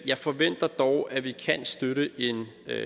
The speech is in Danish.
jeg forventer dog at vi kan støtte en